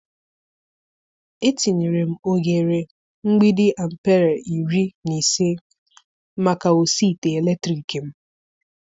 Etinyere m oghere mgbidi ampere iri na ise maka osi ite eletrik m.